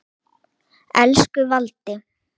Elsku Valdi.